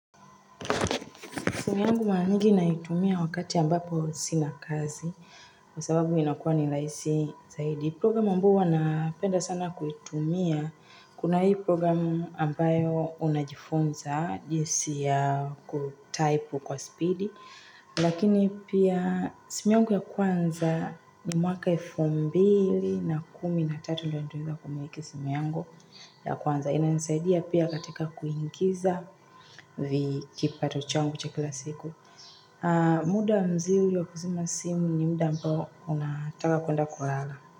Simu yangu mara mingi naitumia wakati ambapo sina kazi kwa sababu inakuwa ni rahisi zaidi. Programu ambao huwa napenda sana kuitumia. Kuna hii programu ambayo unajifunza jinsi ya kutaipu kwa speedi. Lakini pia simiangu ya kwanza ni mwaka elfu mbili na kumi na tatu ndo niliweza kumiliki simu yangu ya kwanza. Inanisaidia pia katika kuingiza kipato changu cha kila siku muda mzuri wa kuzima simu ni muda ambao unataka kwenda kulala.